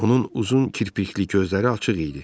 Onun uzun kirpikli gözləri açıq idi.